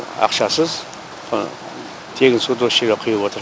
ақшасыз тегін суды осы жерге құйып отыр